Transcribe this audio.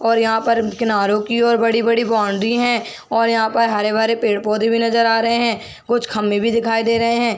और यहाँ पर कीनारों की ओर बड़ी - बड़ी बाउंड्री है और यहाँ पर हरे - भरे पेड़ - पौधे भी नजर आ रहे है कुछ खम्बे भी दिखाई दे रहे है।